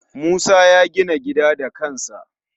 Musa ya gina gida da kansa